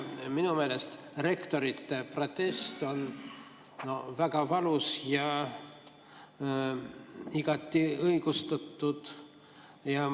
Minu meelest on rektorite protest väga valus ja igati õigustatud.